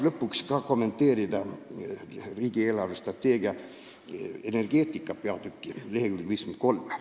Lõpuks tahan kommenteerida riigi eelarvestrateegia energeetika peatükki leheküljel 53.